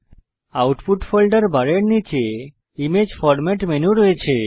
output folder বারের নীচে image format menu রয়েছে